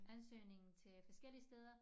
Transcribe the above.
Ansøgning til forskellige steder